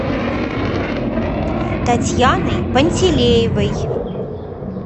татьяной пантелеевой